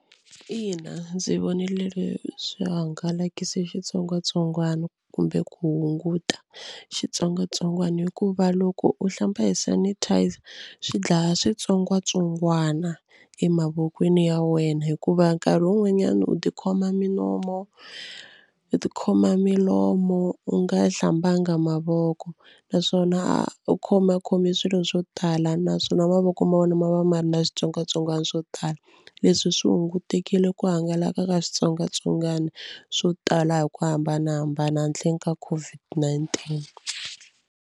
Ina ndzi vonile leswi hangalakise xitsongwatsongwana kumbe ku hunguta xitsongwatsongwana hikuva loko u hlamba hi sanitizer swi dlaya switsongwatsongwana emavokweni ya wena hikuva nkarhi wun'wanyana u tikhoma minomo u tikhoma milomo u nga hlambanga mavoko naswona a u khomakhome swilo swo tala naswona mavoko ma vona ma va ma ri na switsongwatsongwana swo tala. Leswi swi hungutekile ku hangalaka ka switsongwatsongwana swo tala hi ku hambanahambana handleni ka COVID-19.